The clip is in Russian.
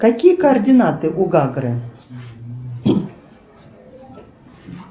какие координаты у гагры